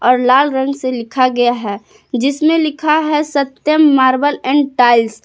और लाल रंग से लिखा गया है जिसमें लिखा है सत्यम मार्बल एंड टाइल्स ।